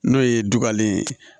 N'o ye dugalen ye